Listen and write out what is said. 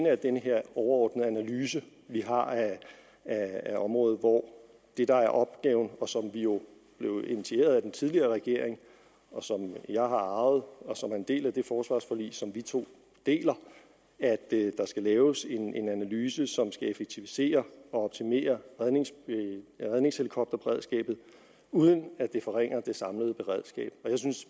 er den her overordnede analyse vi har af området hvor det der er opgaven og som jo blev initieret af den tidligere regering som jeg har arvet og som er en del af det forsvarsforlig som vi to deler er at der skal laves en analyse som skal effektivisere og optimere redningshelikopterberedskabet uden at det forringer det samlede beredskab